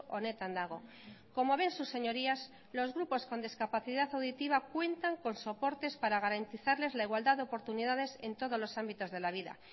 honetan dago como ven sus señorías los grupos con discapacidad auditiva cuentan con soportes para garantizarles la igualdad de oportunidades en todos los ámbitos de la vida